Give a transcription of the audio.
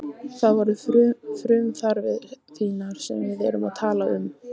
Það eru frumþarfir þínar sem við erum að tala um.